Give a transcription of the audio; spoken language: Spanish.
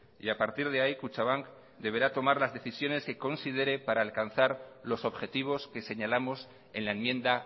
y a partir de ahí kutxabank deberá tomar las decisiones que considere para alcanzar los objetivos que señalamos en la enmienda